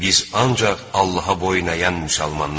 Biz ancaq Allaha boynayan müsəlmanlarıq.